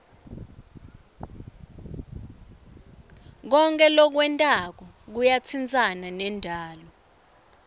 konkhe lokwentako kuyatsintsana nendalo